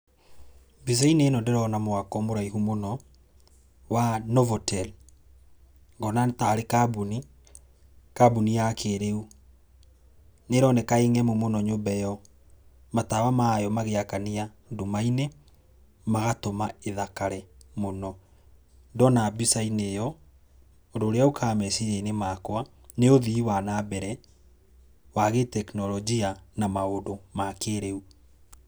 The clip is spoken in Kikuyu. Mbica-inĩ ĩno ndĩrona mwako mũraihu mũno wa Novotel. Ngona tarĩ kambuni, kambuni ya kĩrĩu. Nĩĩroneka ĩng'emu mũno nyũmba ĩyo. Matawa mayo magĩakania nduma-inĩ magatũma ĩthakare mũno. Ndona mbica-inĩ ĩyo, ũndũ ũrĩa ũkaga meciria-inĩ makwa nĩ ũthii wa nambere wa gĩ tekinoronjia na maũndũ ma kĩrĩu.